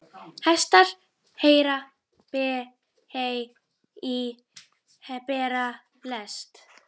Hestar bera hey í lest.